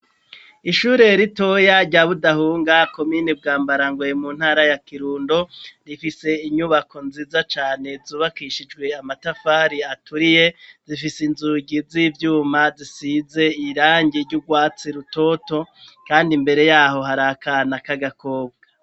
Ishure ritoya rya Budahunga komini Bwambarangwe mu ntara ya Kirundo rifise inyubako nziza cane zubakishijwe amatafari aturiye zifise inzugi z'ivyuma zisize irangi ry'urwatsi rutoto kandi imbere yaho hari akana k'agakobwa.